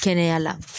Kɛnɛya la